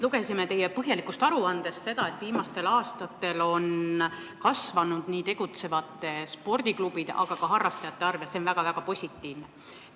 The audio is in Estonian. Lugesime teie põhjalikust aruandest seda, et viimastel aastatel on kasvanud nii tegutsevate spordiklubide kui ka harrastajate arv, ja see on väga-väga positiivne.